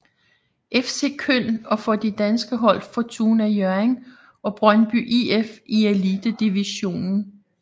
FC Köln og for de danske hold Fortuna Hjørring og Brøndby IF i Elitedivisionen